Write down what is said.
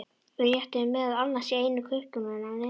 Við réttuðum meðal annars í einu kauptúnanna á Nesinu.